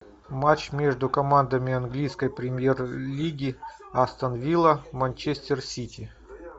матч между командами английской премьер лиги астон вилла манчестер сити